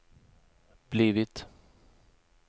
blivit